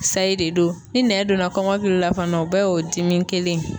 Sayi de don ,ni nɛn donna kɔmɔkili la fana o bɛɛ y'o dimi kelen ye.